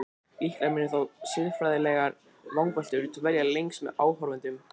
Líklega munu þó siðfræðilegar vangaveltur dvelja lengst með áhorfendum.